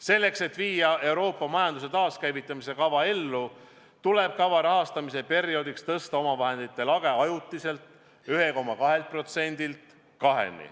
Selleks, et viia ellu Euroopa majanduse taaskäivitamise kava, tuleb kava rahastamise perioodiks tõsta omavahendite lage 1,2%-lt ajutiselt 2%-ni.